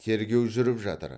тергеу жүріп жатыр